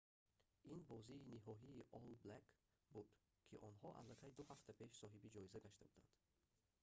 ин бозии ниҳоии олл блэкс буд ки онҳо аллакай ду ҳафта пеш соҳиби ҷоиза гашта буданд